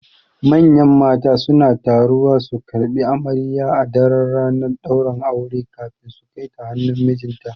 Manyan mata suna taruwa su karɓi amarya a daran ranar ɗaurin aure kafin su Kaita hannun mijinta